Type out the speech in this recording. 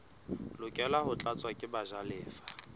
lokela ho tlatswa ke bajalefa